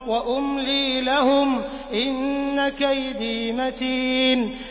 وَأُمْلِي لَهُمْ ۚ إِنَّ كَيْدِي مَتِينٌ